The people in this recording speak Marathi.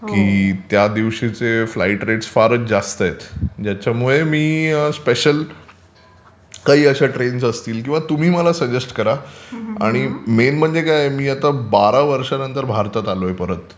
की त्यादिवशीचे फ्लाइट रेट्स फारच जास्त आहेत ज्याच्यामुळे मी स्पेशल काही अशा ट्रेन्स असतील किंवा तुम्ही मला सजेस्ट करा आणि मेन म्हणजे काय आहे मी आता बारा वर्षांनंतर भारतात आलोय परत